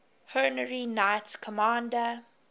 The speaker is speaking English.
honorary knights commander